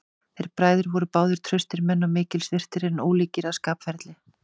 Þeir bræður voru báðir traustir menn og mikils virtir, en ólíkir að skapferli.